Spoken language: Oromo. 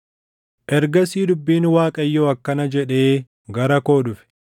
Ergasii dubbiin Waaqayyoo akkana jedhee gara koo dhufe: